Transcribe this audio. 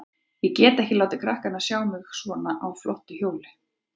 Ég get ekki látið krakkana sjá mig á svona flottu hjóli.